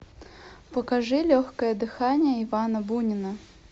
покажи легкое дыхание ивана бунина